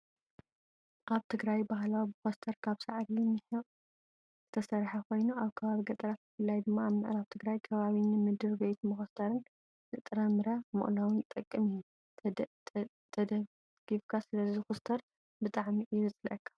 ኣብ ትግራይ ባህላዊ መኮስተር ካብ ሳዕሪ /ሚሕቅ/ ዝተሰረሓ ኮይኑ ኣብ ከባቢ ገጠራት ብፍላይ ድማ ኣብ ምዕራብ ትግራይ ከባቢ ንምድር ቤት መኮስተርን ንጥራምረ መቅለውን ዝጠቅም እዩ። ተደፍኢካ ስለ ዝኩስተረሉ ብጣዕሚ እዩ ዘፅለኣካ።